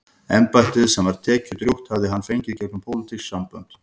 Embættið, sem var tekjudrjúgt, hafði hann fengið gegnum pólitísk sambönd.